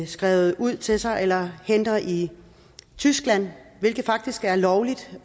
skrevet ud til sig eller henter i tyskland hvilket faktisk er lovligt